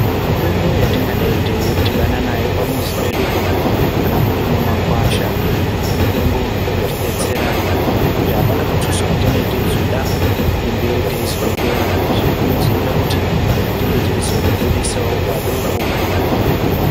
Mitombo yatingadai teidhibana nayo pamuzi pedupo kana kuti mumakwasha, mitombo inotidetsera ngekuti apana muthuso watinee teizoda kunge teizoitora. Izvi zvinozoita kuti, tinge teizobudisawo padoko.